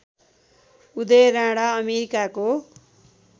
उदय राणा अमेरिकाको